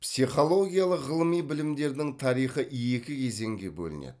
психологиялық ғылыми білімдердің тарихы екі кезеңге бөлінеді